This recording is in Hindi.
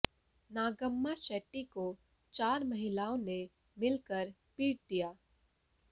नागम्मा शेट्टी को चार महिलाओं ने मिल कर पीट दिया